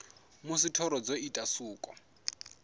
musi thoro dzo ita suko